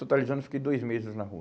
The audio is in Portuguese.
Totalizando, fiquei dois meses na rua.